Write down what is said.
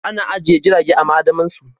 Ana ajiye jirage a ma'adamarsu